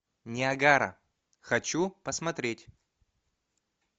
ниагара хочу посмотреть